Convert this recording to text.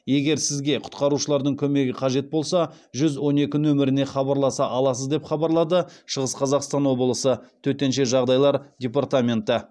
егер сізге құтқарушылардың көмегі қажет болса жүз он екі нөміріне хабарласа аласыз деп хабарлады шығыс қазақстан облысы төтенше жағдайлар департменті